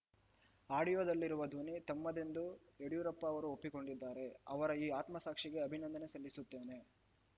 ಆಡಿಯೋದಲ್ಲಿರುವ ಧ್ವನಿ ತಮ್ಮದೇ ಎಂದು ಯಡಿಯೂರಪ್ಪ ಅವರು ಒಪ್ಪಿಕೊಂಡಿದ್ದಾರೆ ಅವರ ಈ ಆತ್ಮಸಾಕ್ಷಿಗೆ ಅಭಿನಂದನೆ ಸಲ್ಲಿಸುತ್ತೇನೆ